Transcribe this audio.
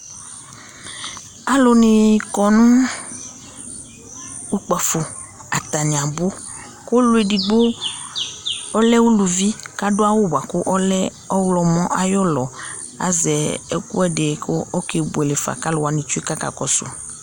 alò ni kɔ no kpafo atani abò kò ɔlò edigbo ɔlɛ uluvi k'adu awu boa kò ɔlɛ ɔwlɔmɔ ayi ulɔ azɛ ɛkò ɛdi kò oke buele fa k'alò wani tsue k'aka kɔsu